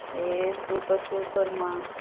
ஏயே super super மா